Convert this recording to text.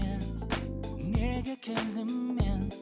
неге келдім мен